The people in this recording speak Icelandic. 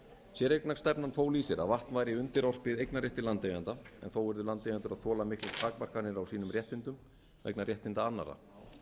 séreignarstefna fól í sér að vatn væri undirorpið eignarrétti landeiganda en þó urðu landeigendur að þola miklar takmarkanir á sínum réttindum vegna réttinda annarra